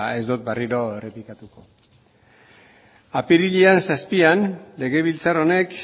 ez dot berriro errepikatuko apirilaren zazpian legebiltzar honek